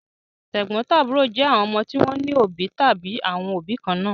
Tẹ̀gbọ́ntàbúrò jẹ́ àwọn ọmọ tí wọ́n ní òbí tàbí àwọn òbí kan náà.